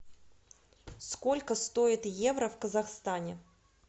сколько стоит евро в казахстане